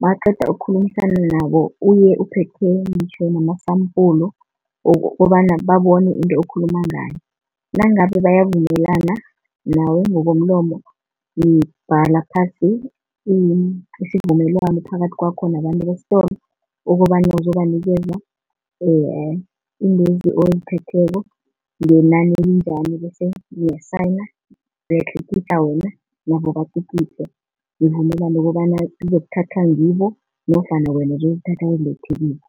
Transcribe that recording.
mawuqeda ukukhulumisana nabo uye uphethe ngitjho nama-sample wokobana babone into okhuluma ngayo. Nangabe bayavumelana nawe ngokomlomo nibhala phasi isivumelwano phakathi kwakho nabantu besitolo, ukobana uzobanikeza iintwezi oziphetheko ngenani elinjani. Bese niya-sign, uyatlikitla wena nabo batlikitle. Nivumelane ukobana zizokuthathwa ngibo nofana wena uzozithatha uzilethe kibo.